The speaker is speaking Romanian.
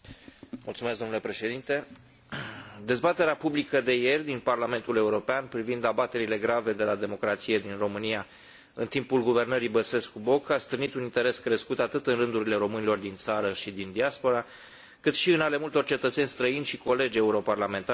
Dezbaterea publică de ieri din Parlamentul European privind abaterile grave de la democrație din România în timpul guvernării Băsescu Boc a stârnit un interes crescut atât în rândurile românilor din țară și din diaspora, cât și în ale multor cetățeni străini și colegi europarlamentari din diferite state membre ale Uniunii Europene.